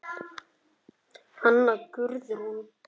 Hanna Guðrún.